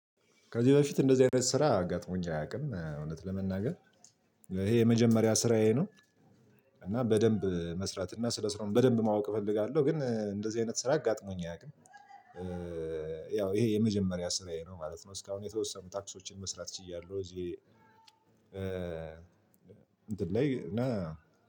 ከዚህ በፊት እንደዚህ አይነት ስራ ገጥሞኝ አያውቅም እውነት ለመናገር ይሄ የመጀመሪያ ስራዬ ነው እና በደንብ መስራት እና ስለ ስራው በደንብ ማወቅ እፈልጋለሁ ግን እንደዚህ አይነት ስራ አጋጥሞኝ አያውቅም። ያው ይሄ የመጀመሪያ ስራዬ ነው ማለት ነ። እስካሁን የተወሰኑ ታክሶችን መስራት ችያለሁ እዚህ እ እንትን ላይ ነው